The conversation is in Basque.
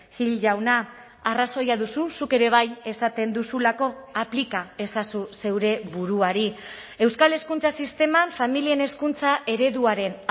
gil jauna arrazoia duzu zuk ere bai esaten duzulako aplika ezazu zeure buruari euskal hezkuntza sisteman familien hezkuntza ereduaren